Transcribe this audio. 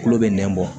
Tulo bɛ nɛn bɔ